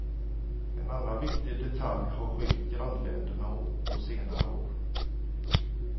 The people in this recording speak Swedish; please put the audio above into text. En annan viktig detalj har skilt grannländerna åt på senare år.